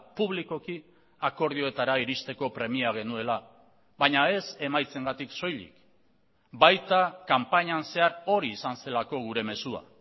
publikoki akordioetara iristeko premia genuela baina ez emaitzengatik soilik baita kanpainan zehar hori izan zelako gure mezua